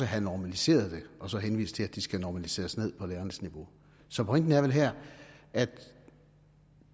have normaliseret og så henvise til at de skal normaliseres ned på lærernes niveau så pointen er vel her at